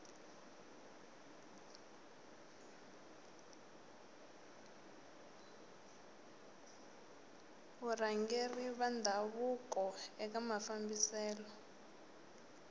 varhangeri va ndhavuko eka mafambiselo